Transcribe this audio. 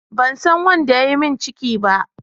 Ban san wanda ya yi min ciki ba.